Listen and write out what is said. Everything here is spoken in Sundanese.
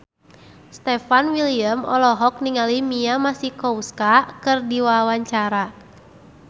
Stefan William olohok ningali Mia Masikowska keur diwawancara